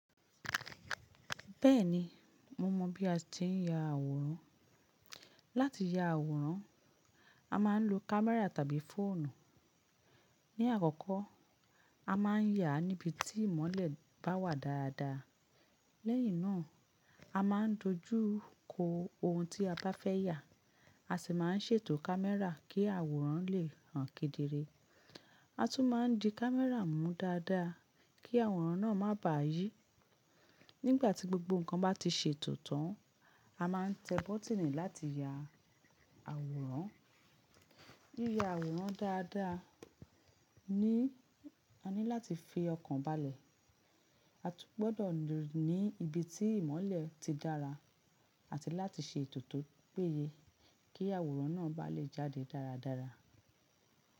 Bẹ́ẹ̀ni, mo mọ bí a ti ń ya àwòrán. Láti ya àwòrán, a máa ń lo kámẹ́rà tàbí fóònù. Ní àkọkọ, a máa ń yà níbi tí ìmọ́lẹ̀ bá wà dáadáa. Lẹ́yìn náà, a máa ń dojú kọ ohun tí a bá fẹ́ yà, a sì máa ń ṣètò kámẹ́rà kí àwòrán lè hàn kedere. A tún máa ń di kámẹ́rà mú dáadáa kí àwòrán náà má bà yí. Nígbà tí gbogbo nǹkan bá ti ṣètò tán, a máa ń tẹ bọ́tínì láti ya àwòrán. Yiya àwòrán dáadáa ní, a ní láti fi ọkàn balẹ̀. A tún gbọdọ̀ ní ibi tí ìmọ́lẹ̀ ti dára àti láti ṣe ètò to péye kí àwòrán náà bá lè jáde dáradára.